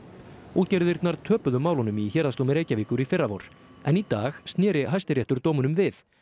útgerðirnar töpuðu málunum í Héraðsdómi Reykjavíkur í fyrravor en í dag sneri Hæstiréttur dómunum við